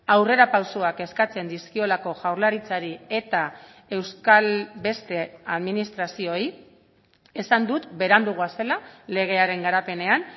aurrera pausoak eskatzen dizkiolako jaurlaritzari eta euskal beste administrazioei esan dut berandu goazela legearen garapenean